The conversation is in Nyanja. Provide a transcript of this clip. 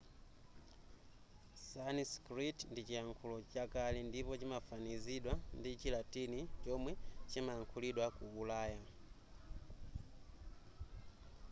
sanskrit ndi chiyankhulo chakale ndipo chimafanizidwa ndi chilatini chomwe chimayankhulidwa ku ulaya